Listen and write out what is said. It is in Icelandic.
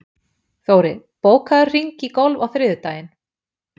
Þóri, bókaðu hring í golf á þriðjudaginn.